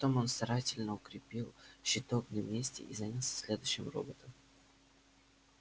потом он старательно укрепил щиток на месте и занялся следующим роботом